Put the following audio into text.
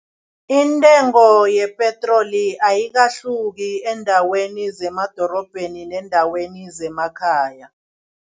Intengo yepetroli ayikahluki eendaweni zemadorobheni neendaweni zemakhaya.